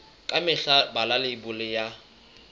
ka mehla bala leibole ya